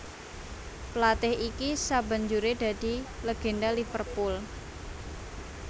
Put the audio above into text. Pelatih iki sabanjuré dadi legenda Liverpool